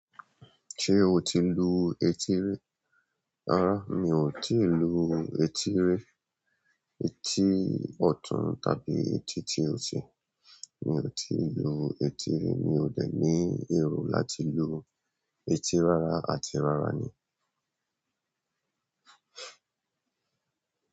Ṣé o ti lu etí rí? Rárá mi ò tí lu etí rí. Etí ọ̀tún tàbí etí tí òsì, mi ò tí lu etí rí. Mi ò dẹ̀ ní èrò láti lu etí rárá àti rárá ni.